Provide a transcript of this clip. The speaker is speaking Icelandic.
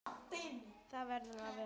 Það verður að vera.